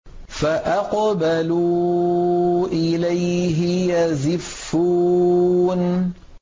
فَأَقْبَلُوا إِلَيْهِ يَزِفُّونَ